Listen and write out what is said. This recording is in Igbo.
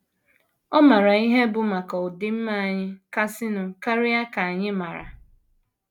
Ọ maara ihe bụ́ maka ọdịmma anyị kasịnụ karịa ka anyị maara.